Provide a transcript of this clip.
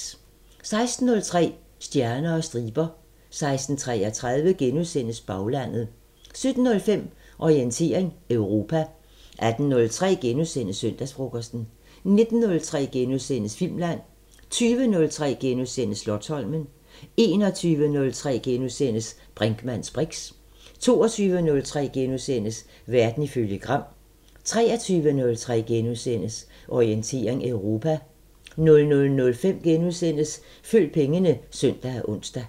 16:03: Stjerner og striber 16:33: Baglandet * 17:05: Orientering Europa 18:03: Søndagsfrokosten * 19:03: Filmland * 20:03: Slotsholmen * 21:03: Brinkmanns briks * 22:03: Verden ifølge Gram * 23:03: Orientering Europa * 00:05: Følg pengene *(søn og ons)